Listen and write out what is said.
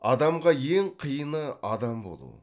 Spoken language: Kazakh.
адамға ең қиыны адам болу